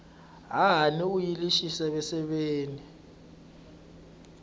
hahani u yile exiseveseveni